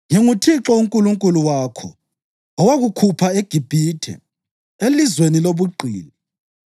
‘ NginguThixo uNkulunkulu wakho owakukhupha eGibhithe, elizweni lobugqili.